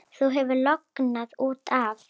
Þú hefur lognast út af!